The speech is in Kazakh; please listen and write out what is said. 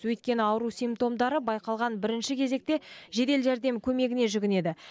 өйткені ауру симптомдары байқалған бірінші кезекте жедел жәрдем көмегіне жүгінеді